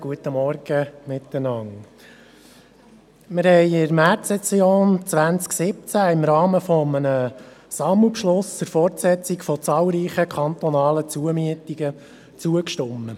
der BaK. Wir haben in der Märzsession 2017 im Rahmen eines Sammelbeschlusses der Fortsetzung zahlreicher kantonaler Zumieten zugestimmt.